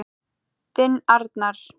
Þinn Arnar.